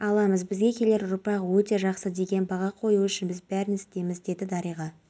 күндіз алматы жамбыл шығыс қазақстан облыстарында қарағанды облысының кей жерлерінде қатты ыстық болады оқиға орнында өрт